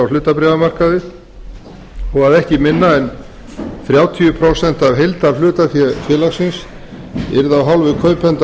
hlutabréfamarkaði og að ekki minna en þrjátíu prósent af heildarhlutafé félagsins yrði af hálfu kaupenda